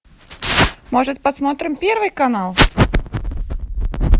может посмотрим первый канал